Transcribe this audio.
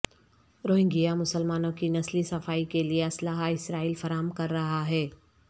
Rohingya مسلمانوں کی نسلی صفائی کے لئے اسلحہ اسرائیل فراہم کر رہا ہے